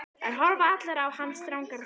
Þær horfa allar á hann strangar á svip.